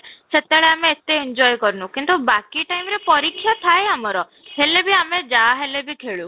time ରେ ସେତେବେଳେ ଆମେ ଏତେ enjoy କରିନୁ କିନ୍ତୁ ବାକି time ରେ ପରୀକ୍ଷା ଥାଏ ଆମର ହେଲେ ବି ଆମେ ଯାହା ହେଲେ ବି ଖେଳୁ